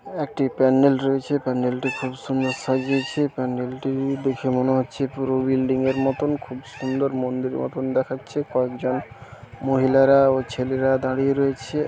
একটি প্যান্ডেল রয়েছে প্যান্ডেলটি খুব সুন্দর সাজিয়েছে প্যান্ডেলটি দেখে মনে হচ্ছে পুরো বিল্ডিংয়ের মতন খুব সুন্দর মন্দির মতন দেখাচ্ছে কয়েকজন মহিলারা ও ছেলেরা দাঁড়িয়ে রয়েছে।